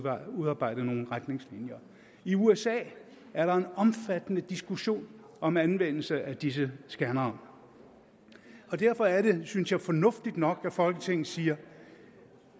at udarbejde nogle retningslinjer i usa er der en omfattende diskussion om anvendelse af disse scannere derfor er det synes jeg fornuftigt nok at folketinget siger